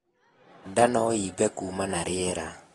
Ndaa noimbe kuuma na rĩera